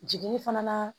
Jiginni fana na